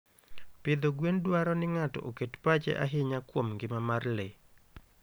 Pidho gwen dwaro ni ng'ato oket pache ahinya kuom ngima mar le.